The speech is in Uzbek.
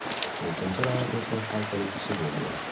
To‘rtinchi raund esa hal qiluvchisi bo‘ldi.